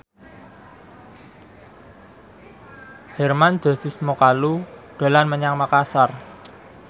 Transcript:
Hermann Josis Mokalu dolan menyang Makasar